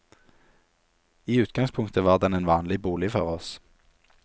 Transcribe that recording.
I utgangspunktet var den en vanlig bolig for oss.